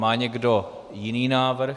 Má někdo jiný návrh?